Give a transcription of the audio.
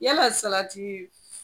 Yala